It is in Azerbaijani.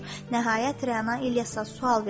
Nəhayət, Rəna İlyasa sual verdi.